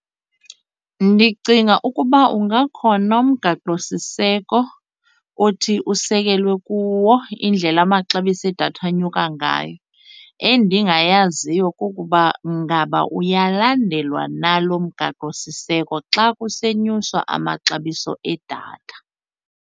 Ndicinga ukuba ungakhona umgaqosiseko othi kusekelwe kuwo indlela amaxabiso edatha anyuka ngayo. Endingayaziyo kukuba ngaba uyalandelwa na lo mgaqosiseko xa kusenyuswa amaxabiso edatha.